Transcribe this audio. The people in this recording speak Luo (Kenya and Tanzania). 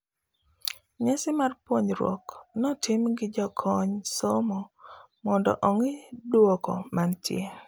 Nyasi mar puonjruok notim gi jokony somo mondo ong'ii duoko manitie